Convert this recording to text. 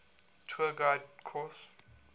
tour guide course